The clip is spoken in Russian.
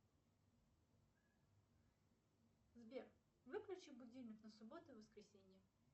сбер выключи будильник на субботу и воскресенье